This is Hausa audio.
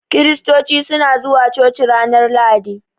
Kiristoci suna zuwa coci ranar lahadi.